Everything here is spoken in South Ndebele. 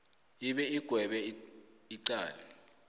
ibe igwebe icala